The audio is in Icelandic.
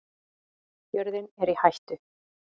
Jörðin er í hættu